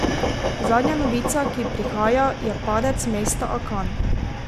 Zadnja novica, ki prihaja, je padec mesta Akan.